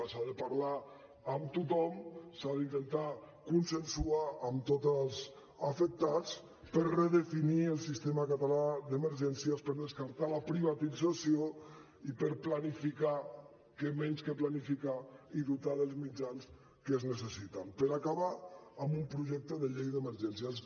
s’ha de parlar amb tothom s’ha d’intentar consensuar amb tots els afectats per redefinir el sistema català d’emergències per descartar la privatització i per planificar què menys que planificar i dotar dels mitjans que es necessiten per acabar amb un projecte de llei d’emergències